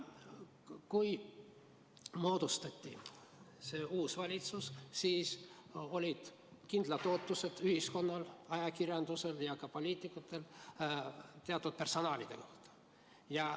Kui moodustati uus valitsus, siis olid ühiskonnal, ajakirjandusel ja ka poliitikutel kindlad ootused teatud persoonide kohta.